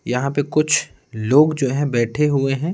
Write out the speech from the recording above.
यहाँ पे कुछ लोग जो हैं बैठे हुए हैं।